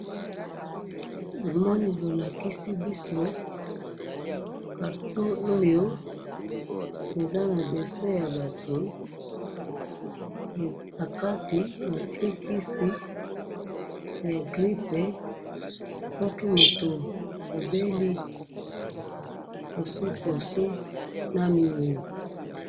namoni bo lakisi biso, carton oyo eza na dessin ya batu, na kati batie kisi ya grippe, soki moto abeli kosokos na miyoyo